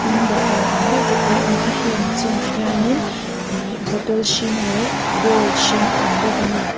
tin dawhkan ang deuh tepawh a awm bawk a heng chungah hianin ihh bottle hring leh bowl hring a awm bawk a ni.